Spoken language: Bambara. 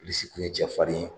Bilisi tun ye cɛfarin ye